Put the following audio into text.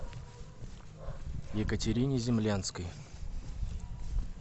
екатерине землянской